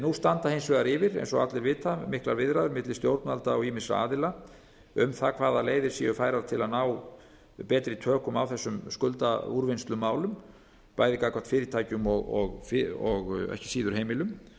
nú standa hins vegar yfir eins og allir vita miklar viðræður milli stjórnvalda og ýmissa aðila um það hvaða leiðir séu færar til að ná betri tökum á þessum skuldaúrvinnslumálum bæði gagnvart fyrirtækjum og ekki síður heimilum